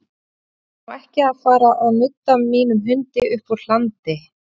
Ég ætla nú ekki að fara að nudda mínum hundi uppúr hlandi.